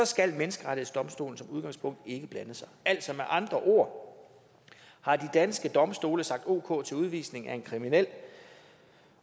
skal menneskerettighedsdomstolen som udgangspunkt ikke blande sig altså med andre ord har de danske domstole sagt ok til udvisning af en kriminel